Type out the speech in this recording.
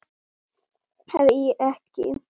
Hví ekki.